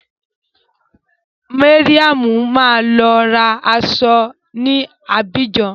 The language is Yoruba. Mariam máa lọ ra aṣọ ní Abidjan.